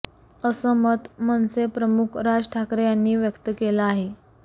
असं मत मनसेप्रमुख राज ठाकरे यांनी व्यक्त केलं आहे